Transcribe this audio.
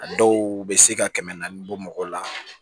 A dɔw bɛ se ka kɛmɛ naani bɔ mɔgɔ la